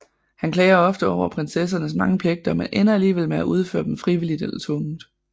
Han klager ofte over prinsessernes mange pligter men ender alligevel med at udføre dem frivilligt eller tvungent